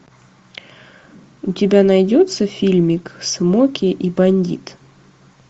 у тебя найдется фильмик смоки и бандит